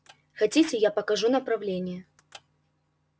хотите я покажу направление